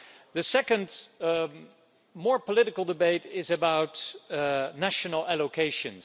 The second, more political, debate is about national allocations.